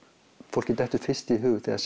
fólki dettur fyrst í hug þegar